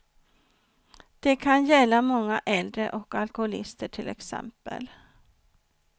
Det kan gälla många äldre och alkoholister, till exempel.